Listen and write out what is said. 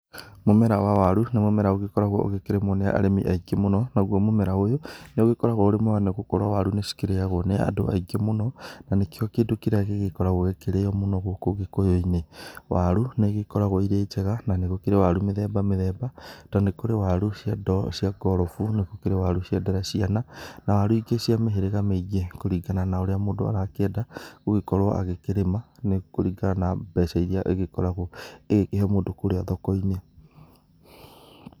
Mũmera wa waru nĩ mũmera ũgĩkoragwo ũkirĩmwo nĩ arĩmi aingĩ mũno. Naguo mũmera ũyũ nĩũgĩkoragwo ũrĩ mwega nĩgũkorwo waru nĩ cikĩrĩagwo nĩ andũ aingĩ mũno na nĩkĩo kĩndũ kĩrĩa gĩkoragwo gĩkĩrĩo mũno gũkũ ũgĩkũyũ-inĩ. Waru nĩ igĩkoragwo irĩ njega na nĩ gũkĩrĩ waru mĩthemba mĩthemba, tondũ nĩ kũrĩ waru cia ndoo, cia ngorobu, nĩ gũkĩrĩ waru cia nderaciana na waru ingĩ cia mĩhĩrĩga mĩingĩ kũringana na ũrĩa mũndũ arakĩenda gũgĩkorwo agĩkĩrĩma, nĩ kũringana na mbeca iria agĩkoragwo ĩgĩkĩhe mũndũ kũrĩa thoko-inĩ.